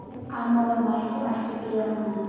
Amma var mætt og ekki blíð á manninn.